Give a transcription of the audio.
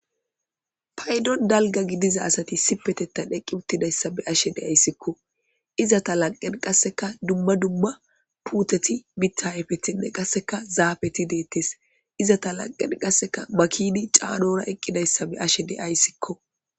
Paydon dalga gidiza asati sipetettan heqqi uttidayssa be ashe deayssikko iza ta lanqen qasseka dumma dumma puuteti bitta hayfetinne qasseka zaafeti deettes izata lanqen qasseka makini caanora eqqidayssa be ashe deayssikko.